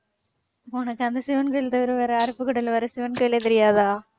உனக்கு அந்த சிவன் கோவில் தவிர வேற அருப்புக்கோட்டையில வேற சிவன் கோயிலே தெரியாதா?